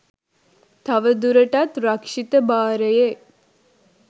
තවදුරටත් රක්ෂිත භාරයේ